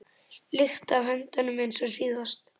lykt af höndunum eins og síðast.